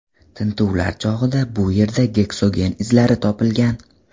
Tintuvlar chog‘ida bu yerda geksogen izlari topilgan.